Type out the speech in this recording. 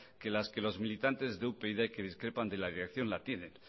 que las que los militantes de upyd que discrepan de la dirección la tienen